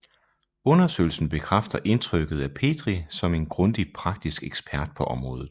Undersøgelsen bekræfter indtrykket af Petrie som en grundig praktisk ekspert på området